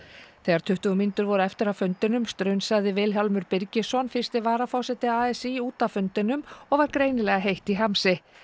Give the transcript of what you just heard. þegar tuttugu mínútur voru eftir af fundinum strunsaði Vilhjálmur Birgisson fyrsti varaforseti a s í út af fundinum og var greinilega heitt í hamsi